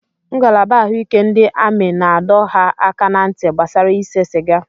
Ngalaba ahụike ndị amị na-adọ ha aka ná ntị gbasara ise sịga.